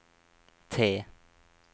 T